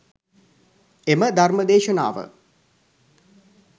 එම ධර්ම දේශනාව